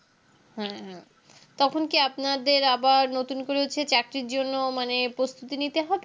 হম তখন কি আপনাদের আবার নতুন করে হচ্ছে চাকরির জন্য মানে প্রস্তুতি নিতে হবে